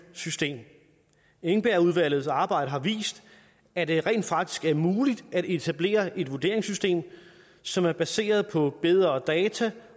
system engbergudvalgets arbejde har vist at det rent faktisk er muligt at etablere et vurderingssystem som er baseret på bedre data